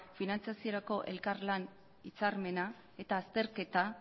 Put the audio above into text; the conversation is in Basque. finantziaziorako elkarlan hitzarmena eta azterketa